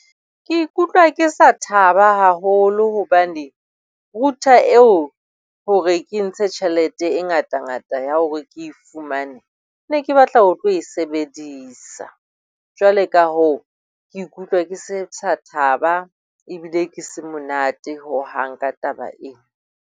Ke ikutlwa ke sa thaba haholo hobane, router eo hore ke ntshe tjhelete e ngatangata ya hore ke e fumane, ne ke batla ho tlo e sebedisa. Jwale ka hoo, ke ikutlwa ke se thaba ebile ke se monate hohang ka taba ena.